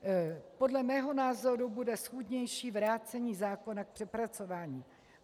Podle mého názoru bude schůdnější vrácení zákona k přepracování.